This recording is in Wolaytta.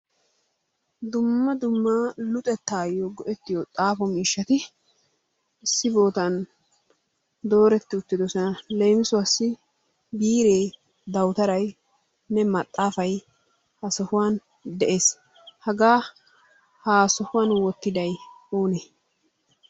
Dumma dumma luxettayo go"ettiyo xaafo miishshati issi bootan dooreti uttidoosona. Leemisuwassi Biire, dawutaynne maxaafay ha sohuwan dees. Hagaa ha sohuwan wottiday oone?